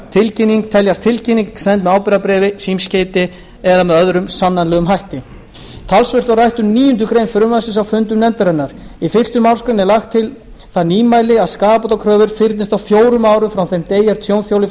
tilkynning send með ábyrgðarbréfi símskeyti eða öðrum sannanlegum hætti talsvert var rætt um níundu grein frumvarpsins á fundum nefndarinnar í fyrstu málsgrein er lagt til það nýmæli að skaðabótakröfur fyrnist á fjórum árum frá þeim degi er tjónþoli